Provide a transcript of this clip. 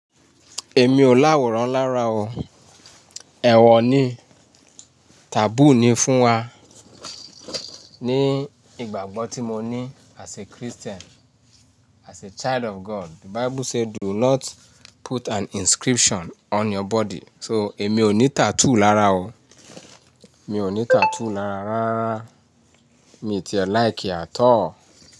Èmi ò láwọ̀rán lára o. Ẹ̀wọ̀ ni, taboo ni fún wa. Ní ìgbàgbọ́ tí mo ní as a Christian, as a child of God, the Bible say do not put an inscription on your body. So èmi ò ní tattoo lára o. Mi ò ní tattoo lára rárá. Mi ti ẹ̀ like at all.